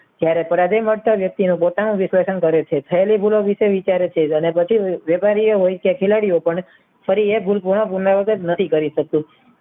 જયારે પરાગય મળતા વ્યક્તિને પોતાના વિશેષણ કરે છે થેલી ગરો વિશે વિચારે છે. ફરી એ ગુરગુનો ગુમાવત નથી કરી શકતો